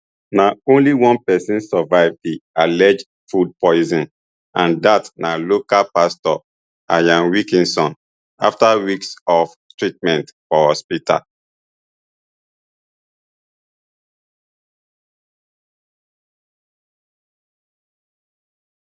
na only one pesin survive di alleged food posin and dat na local pastor ian wilkinson afta weeks of treatment for hospital